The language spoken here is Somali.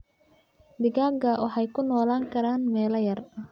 Digaagga waxay ku noolaan karaan meel yar.